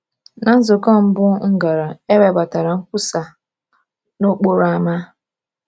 Na nzukọ mbụ m gara, e webatara nkwusa n’okporo ámá.